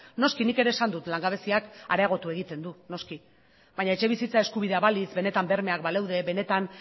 noski nik ere esan dut langabeziak areagotu egiten du noski baina etxebizitza eskubidea balitz benetan bermeak baleude benetan